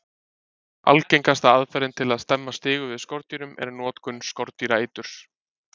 Algengasta aðferðin til að stemma stigu við skordýrum er notkun skordýraeiturs.